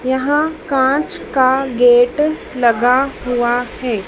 यहां कांच का गेट लगा हुआं हैं।